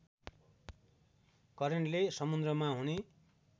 करेन्टले समुद्रमा हुने